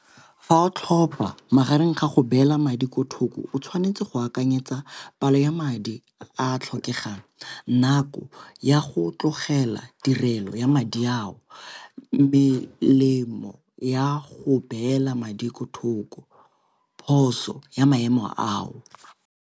Fa o tlhopa magareng ga go beela madi ko thoko o tshwanetse go akanyetsa palo ya madi a a tlhokegang, nako ya go tlogela tirelo ya madi ao, melemo ya go beela madi ko thoko, phoso ya maemo ao.